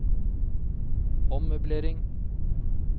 ommøblering